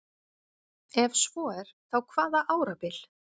ef svo er þá hvaða árabil